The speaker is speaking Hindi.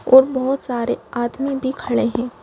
और बहुत सारे आदमी भी खड़े हैं।